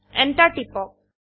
enter টিপক